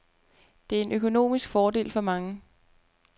Det er en økonomisk fordel for mange.